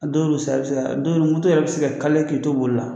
Don dɔ bɛ se ka don dɔ moto yɛrɛ a bɛ se ka k'i to boli la